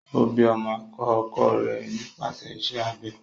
O bi ọmọ akọkọ rẹ nípasẹ iṣẹ abẹ